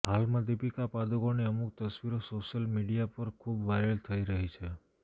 હાલમાં દીપિકા પાદુકોણની અમુક તસ્વીરો સોશિયલ મીડિયા પર ખૂબ વાયરલ થઈ રહી છે